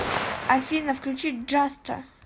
афина включи джаста